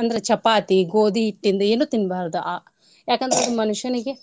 ಅಂದ್ರ ಚಪಾತಿ ಗೋದಿ ಹಿಟ್ಟಿಂದ್ ಏನೂ ತೀನ್ಬಾರದು ಯಾಕಂದ್ರೆ ಮನುಷ್ಯನಿಗೆ .